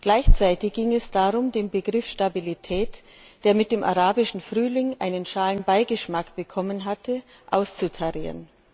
Gleichzeitig ging es darum, den Begriff Stabilität, der mit dem Arabischen Frühling einen schalen Beigeschmack bekommen hatte, auszutarieren.